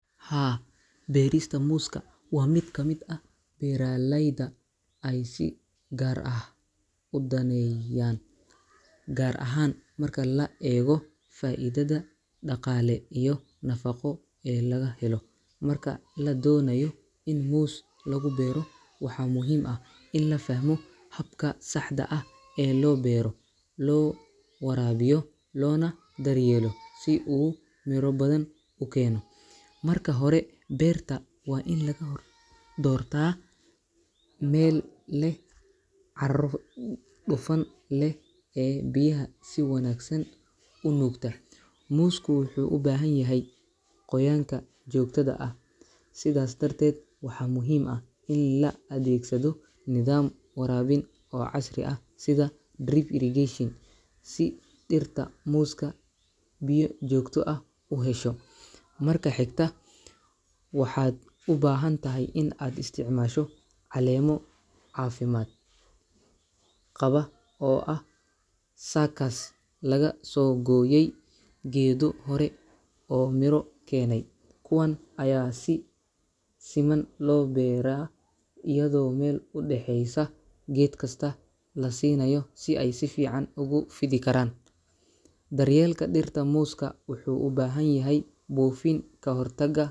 Haa, beerista muuska waa mid ka mid ah beeralayda ay si gaar ah u daneeyaan, gaar ahaan marka la eego faa’iidada dhaqaale iyo nafaqo ee laga helo. Marka la doonayo in muus lagu beero, waxaa muhiim ah in la fahmo habka saxda ah ee loo beero, loo waraabiyo, loona daryeelo si uu miro badan u keeno. Marka hore, beerta waa in laga doortaa meel leh carro dufan leh oo biyaha si wanaagsan u nuugta. Muusku wuxuu u baahan yahay qoyaanka joogtada ah, sidaas darteed waxaa muhiim ah in la adeegsado nidaam waraabin oo casri ah sida drip irrigation, si dhirta muuska biyo joogto ah u hesho. Marka xigta, waxaad u baahan tahay in aad isticmaasho caleemo caafimaad qaba oo ah suckers laga soo gooyey geedo hore oo miro keenay. Kuwan ayaa si siman loo beeraa, iyadoo meel u dhexeeysa geed kasta la siinayo si ay si fiican ugu fidi karaan. Daryeelka dhirta muuska wuxuu u baahan yahay buufin ka hortagga.